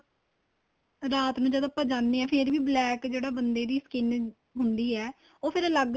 ਰਾਤ ਨੂੰ ਜਦੋਂ ਆਪਾਂ ਜਾਂਦੇ ਹਾਂ ਫ਼ੇਰ ਵੀ black ਜਿਹੜੇ ਬੰਦੇ ਦੀ skin ਹੁੰਦੀ ਏ ਉਹ ਫੇਰ ਅੱਲਗ